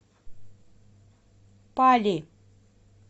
пали